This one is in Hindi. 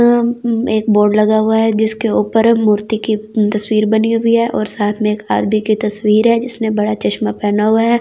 एक बोर्ड लगा हुआ है जिसके ऊपर मूर्ति की तस्वीर बनी हुई है और साथ में एक आदमी की तस्वीर है जिसने बड़ा चश्मा पहना हुआ है।